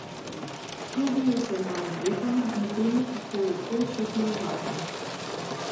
Čudijo se mojim letom in temu, kako lepo še telovadim.